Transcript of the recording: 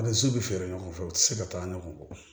Ni so bɛ feere ɲɔgɔn fɛ u ti se ka taa ɲɔgɔn kɔ